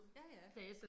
Ja ja